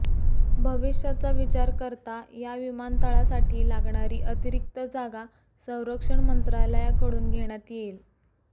भविष्याचा विचार करता या विमानतळासाठी लागणारी अतिरिक्त जागा संरक्षण मंत्रालयाकडून घेण्यात येईल